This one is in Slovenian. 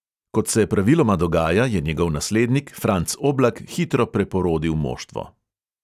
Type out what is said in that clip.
Kot se praviloma dogaja, je njegov naslednik franc oblak hitro preporodil moštvo.